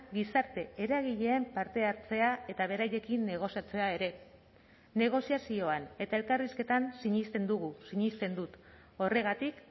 gizarte eragileen parte hartzea eta beraiekin negoziatzea ere negoziazioan eta elkarrizketan sinesten dugu sinesten dut horregatik